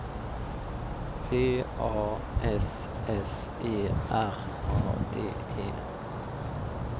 P A S S E R A D E